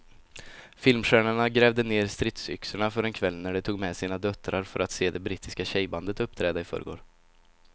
Filmstjärnorna grävde ned stridsyxorna för en kväll när de tog med sina döttrar för att se det brittiska tjejbandet uppträda i förrgår.